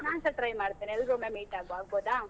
ನಾನ್ಸ try ಮಾಡ್ತೇನೆ ಎಲ್ರೂ ಒಮ್ಮೆ meet ಆಗುವ ಆಗ್ಬೋದ?